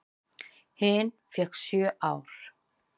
Hin fékk sjö ár.